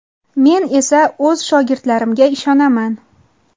Men esa o‘z shogirdlarimga ishonaman.